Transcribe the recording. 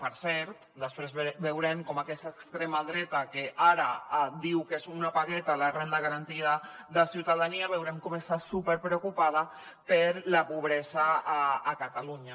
per cert després veurem com aquesta extrema dreta que ara diu que és una pagueta la renda garantida de ciutadania està superpreocupada per la pobresa a catalunya